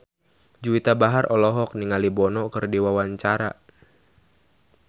Juwita Bahar olohok ningali Bono keur diwawancara